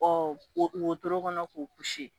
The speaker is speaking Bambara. Ɔ wotoro kɔnɔ k'o